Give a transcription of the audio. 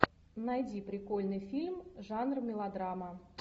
найди прикольный фильм жанр мелодрама